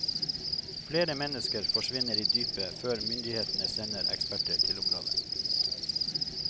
Flere mennesker forsvinner i dypet før myndighetene sender eksperter til området.